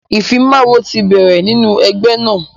ìfimawo ti bẹ̀rẹ̀ nínú ẹgbẹ́ náà.